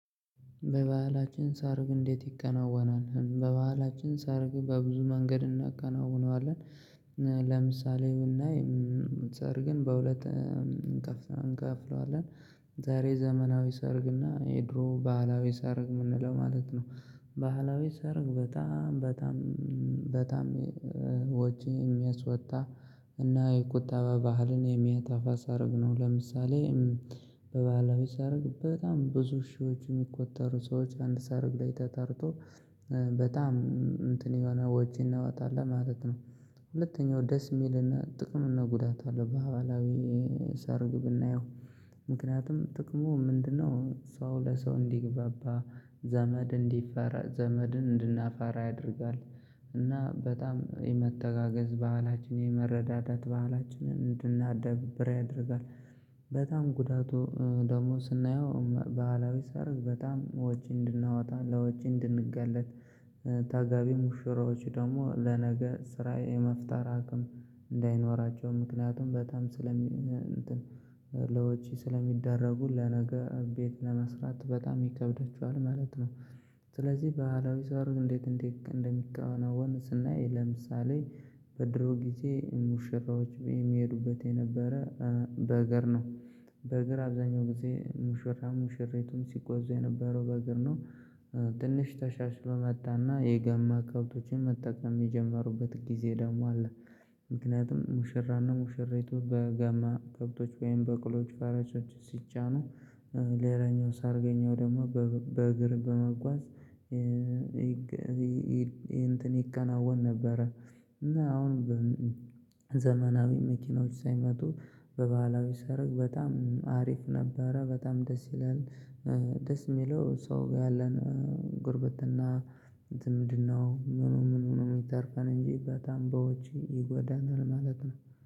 በባህላችን ሰርግ እንዴት ይከናወናል? በባህላችን ሰርግ በብዙ መንገድ እናከናዉነዋለን። ለምሳሌ ብናይ ሰርግን በሁለት እንከፍለዋለን። ዛሬ ዘመናዊ ሰርግና የድሮ ባህላዊ ሰርግ የምንለው ማለት ነው። ባህላዊ ሰርግ በጣም በጣም በጣም ወጪ የሚያስወጣ እና የቁጠባ ባህልን የሚያጠፋ ሰርግ ነው ለምሳሌ። በባህላዊ ሰርግ በጣም ብዙ ሺዎች የሚቆጠሩ ሰዎች አንድ ሰርግ ላይ ተጠርቶ በጣም እንትን የሆነ ወጪ እናወጣለን ማለት ነው። ሁለተኛው ደስ የሚልና ጥቅም እና ጉዳት አለው ባህላዊ ሰርግ ብናየው ምክንያቱም ጥቅሙ ምንድነው? ሰው ለሰው እንዲግባባ ዘመድ እንዲፈራ ዘመድን እንድናፋራ ያደርጋል። እና በጣም የመተጋገዝ ባህላችን የመረዳዳት ባህላችንን እንድናዳብር ያደርጋል። በጣም ጉዳቱ ደግሞ ስናየው ባህላዊ ሰርግ በጣም ወጪ እንድናወጣ ለወጪ እንድንጋለጥ ታጋቢ ሙሽራዎች ደግሞ ለነገ ስራዬ የመፍጠር አቅም እንዳይኖራቸው ምክንያቱም በጣም ስለሚ እንትን ለወጪ ስለሚደረጉ ለነገ ቤት ለመስራት በጣም ይከብደችኋል ማለት ነው። ስለዚህ ባህላዊ ሰርግ እንዴት እንደሚከናወን ስናይ ለምሳሌ በድሮ ጊዜ ሙሽራዎች የሚሄዱበት የነበረ በእግር ነው። በእግር አብዛኛው ጊዜ ሙሽራ ሙሽሪቱም ሲጓዙ የነበረው በእግር ነው። ትንሽ ተሻሽሎ መጣና የገማ ከብቶችን መጠቀም የጀመሩበት ጊዜ ደግሞ አለ። ምክንያቱም ሙሽራና ሙሽሪቱ በጋማ ከብቶች ወይም በቅሎች ፈረሶች ሲጫኑ ሌላኛው ሰርገኛው ደግሞ በእግር በመጓዝ እንትን ይከናወን ነበረ። እና አሁን ዘመናዊ መኪኖች ሳይመጡ በባህላዊ ሰርግ በጣም አሪፍ ነበር በጣም ደስ ይላል። ደስ የሚለው ሰው ጋር ያለን ጉርብትና ዝምድናው ምኑ ምኑ ምኑ የሚተርፈን እንጂ በጣም በወጭ ይጎዳናል ማለት ነው